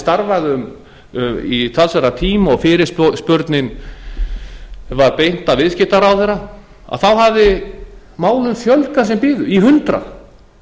starfað í talsverðan tíma og fyrirspurninni var beint að viðskiptaráðherra þá hafði málum fjölgað sem biðu í hundrað